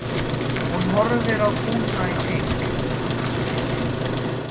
Hún horfði á kúna í keng.